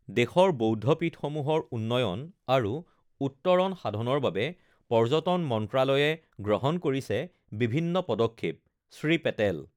দেশৰ বৌদ্ধপীঠসমূহৰ উন্নয়ণ আৰু উত্তৰণ সাধনৰ বাবে পৰ্যটন মন্ত্ৰালয়ে গ্ৰহণ কৰিছে বিভিন্ন পদক্ষেপ শ্ৰী পেটেল